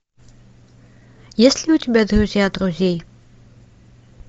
есть ли у тебя друзья друзей